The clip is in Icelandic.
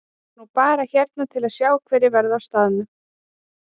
Ég er nú bara hérna til að sjá hverjir verða á staðnum.